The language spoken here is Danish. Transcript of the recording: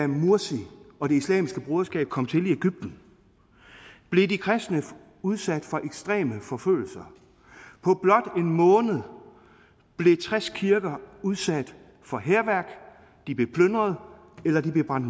mursi og det islamiske broderskab kom til i egypten blev de kristne udsat for ekstreme forfølgelser på blot en måned blev tres kirker udsat for hærværk de blev plyndret eller de blev brændt